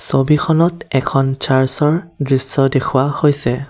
ছবিখনত এখন চাৰ্চৰ দৃশ্য দেখুওৱা হৈছে।